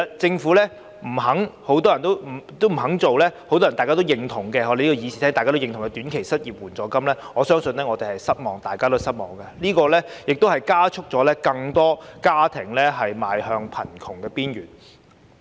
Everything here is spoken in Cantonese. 政府不肯設立多位議員贊同的短期失業援助金，我相信大家都感到失望，這亦加速更多家庭邁向貧窮邊緣。